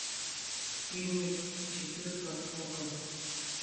фильмы четырка окко